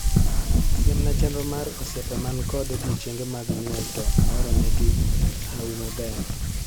Siemna chenro mar osiepe man kod odiechienge mag nyuol to ahoro negi hawi maber